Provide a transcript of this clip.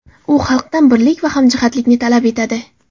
U xalqdan birlik va hamjihatlikni talab etadi.